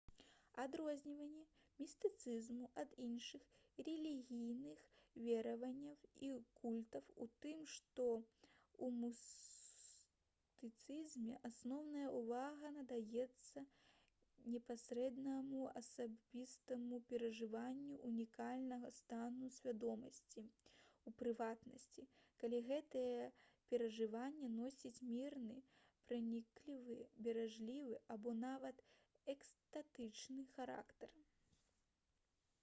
адрозненне містыцызму ад іншых рэлігійных вераванняў і культаў у тым што ў містыцызме асноўная ўвага надаецца непасрэднаму асабістаму перажыванню ўнікальнага стану свядомасці у прыватнасці калі гэтае перажыванне носіць мірны праніклівы блажэнны або нават экстатычны характар